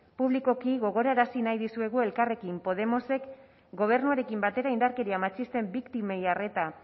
publikoki gogorarazi nahi dizuegu elkarrekin podemosek gobernuarekin batera indarkeria matxisten biktimei arreta